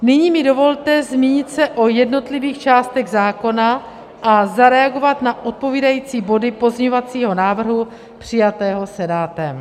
Nyní mi dovolte zmínit se o jednotlivých částech zákona a zareagovat na odpovídající body pozměňovacího návrhu přijatého Senátem.